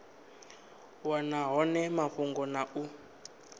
wana hone mafhungo na u